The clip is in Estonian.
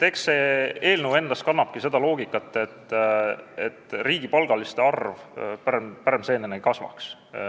Eks see eelnõu kannabki endas seda loogikat, et riigipalgaliste arv pärmseenena ei kasvaks.